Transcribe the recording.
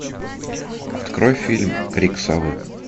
открой фильм крик совы